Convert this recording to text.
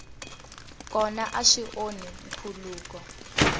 kona a swi onhi nkhuluko